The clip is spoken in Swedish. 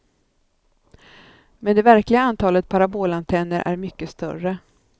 Men det verkliga antalet parabolantenner är mycket större.